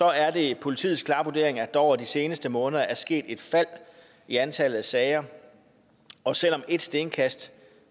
er det politiets klare vurdering at der over de seneste måneder er sket et fald i antallet af sager og selv om ét stenkast